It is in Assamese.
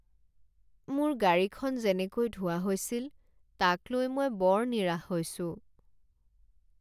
মোৰ গাড়ীখন যেনেকৈ ধোৱা হৈছিল তাক লৈ মই বৰ নিৰাশ হৈছোঁ।